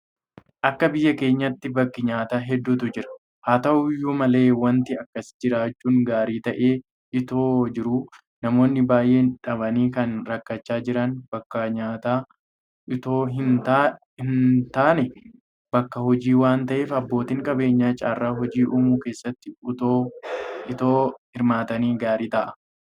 Akka biyya keenyaatti bakki nyaataa hedduutu jira. Haata'u iyyuu malee waanti akkasii jiraachuun gaarii ta'ee itoo jiruu namoonni baay'een dhabanii kan rakkachaa jiran bakka nyaataa itoo hintaane bakka hojii waanta ta'eef abbootiin qabeenyaa carraa hojii uumuu keessatti itoo hirmaatanii gaarii ta'a.